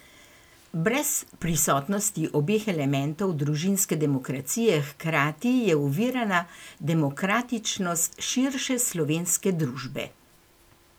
Brez prisotnosti obeh elementov družinske demokracije hkrati je ovirana demokratičnost širše slovenske družbe.